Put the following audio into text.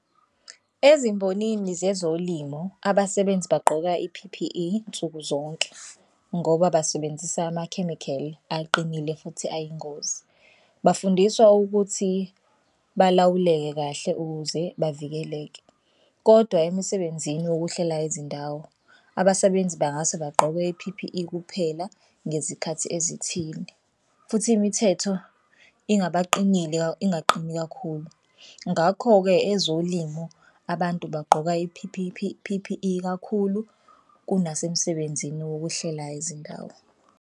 Ezimbonini zezolimo abasebenzi bagqoka i-P_P_E nsukuzonke ngoba basebenzise amakhemikheli aqinile futhi ayingozi. Bafundiswa ukuthi balawuleke kahle ukuze bavikeleke kodwa emisebenzini wokuhlela izindawo abasebenzi bengase bagqoke i-P_P_E kuphela ngezikhathi ezithile futhi imithetho ingaqini kakhulu. Ngakho-ke ezolimo abantu bagqoka P_P_E kakhulu kunasemsebenzini wokuhlela izindawo.